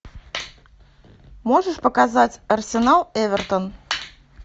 можешь показать арсенал эвертон